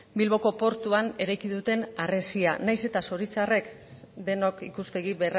bilboko portuan eraiki duten harresia nahiz eta zoritxarrez denok ikuspegi